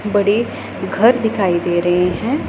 बड़े घर दिखाई दे रहे हैं